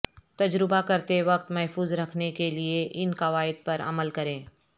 تجربہ کرتے وقت محفوظ رکھنے کے لئے ان قواعد پر عمل کریں